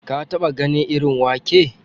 Ka taɓa ganin irin wake?